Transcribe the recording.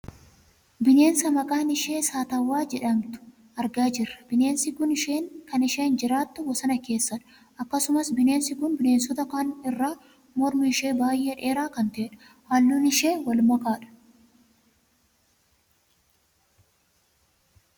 Bineensa maqaan ishee saatawwaa jedhamtu argaa jirra. Bineensi kun kan isheen jiraattu bosona keessadha. Akkasumas Bineensi kun bineensota kaan irra mormi ishee baayyee dheeraa kan ta'edha. Halluun ishee wal makaadha.